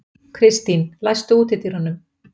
Kristín, læstu útidyrunum.